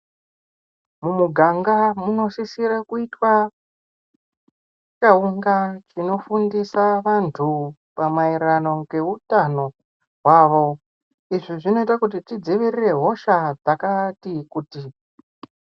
Mumiganga munosisira kuita chaunga chinofundira vantu pamaererano neutano wavo izvi zvinoita tidzivirire hosha dzakati kuti.